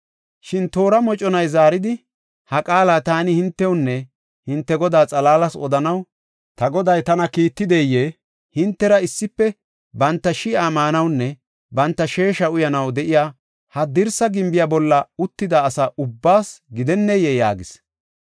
Shin toora moconay zaaridi, “Ha qaala taani hintewunne hinte godaa xalaalas odanaw ta goday tana kiittideyee? Hintera issife banta shi7a maanawunne banta sheesha uyanaw de7iya, ha dirsa gimbiya bolla uttida asa ubbaasa gidenneyee?” yaagis.